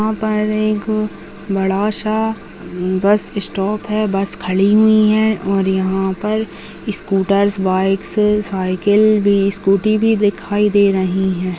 यहाँ पर एक बड़ा सा बस स्टॉप बस खड़ी हुई हैं और यहाँ पर सस्कूटरस बाइकस साइकिल भी स्कूटी भी दिखाई दे रही हैं।